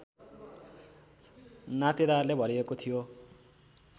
नातेदारले भरिएको थियो